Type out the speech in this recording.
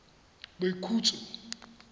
boikhutso